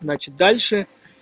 значит дальше